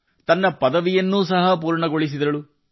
ಮತ್ತು ತನ್ನ ಪದವಿಯನ್ನು ಸಹ ಪೂರ್ಣಗೊಳಿಸಿದರು